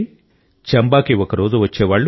చంబాకి ఒకరోజు వచ్చేవాళ్లు